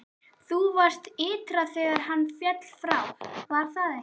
Þú varst ytra þegar hann féll frá, var það ekki?